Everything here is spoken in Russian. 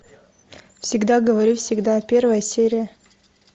всегда говори всегда первая серия